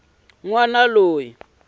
wana loyi a lavaka ku